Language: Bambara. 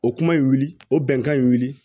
O kuma in wuli o bɛnkan in wili